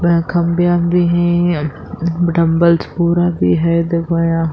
وہ کھمبے وامبے ہے۔ ڈمبلیس پورا بھی ہے یہا --